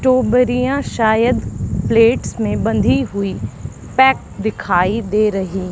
टोबरियां शायद प्लेट्स में बंधी हुई पैक दिखाई दे रही--